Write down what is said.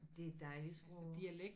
Det er et dejligt sprog